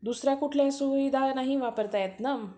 दुसऱ्या कुठल्याही सुविधा नाही वापरता येत ना